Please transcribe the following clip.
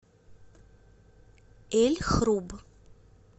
эль хруб